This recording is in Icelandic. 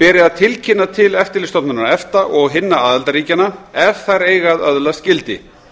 beri að tilkynna til eftirlitsstofnunar efta og hinna aðildarríkjanna ef þær eiga að öðlast gildi